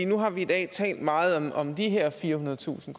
nu har vi i dag talt meget om de her firehundredetusind